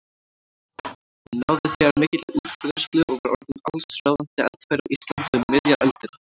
Hún náði þegar mikilli útbreiðslu og var orðin allsráðandi eldfæri á Íslandi um miðja öldina.